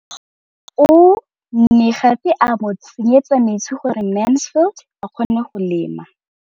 O ne gape a mo tsenyetsa metsi gore Mansfield a kgone go lema.